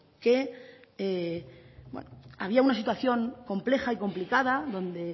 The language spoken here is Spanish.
que había una situación compleja y complicada donde